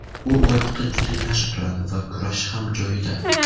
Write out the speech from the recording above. U oyoqda juda yaxshi turadi va kurashi ham joyida.